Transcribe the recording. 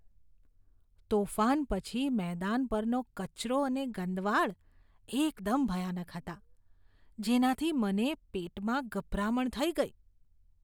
તોફાન પછી મેદાન પરનો કચરો અને ગંદવાડ એકદમ ભયાનક હતાં, જેનાથી મને પેટમાં ગભરામણ થઇ ગઇ.